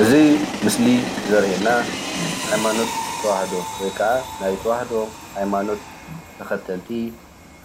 እዚ ምስሊ ዘርእየና ሃይማኖት ተዋህዶ ወይ ከዓ ናይ ተዋህዶ ሃይማኖት ተከተልቲ